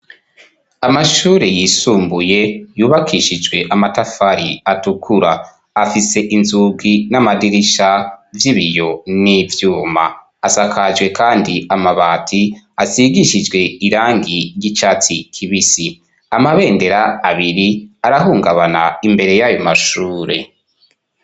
Amashure yisumbuye yubakishijwe amatafari atukura, afise inzugi n'amadirisha vy'ibiyo n'ivyuma, asakajwe kandi amabati asigishijwe irangi ry'icatsi kibisi .Amabendera abiri arahungabana imbere y'ayo mashure.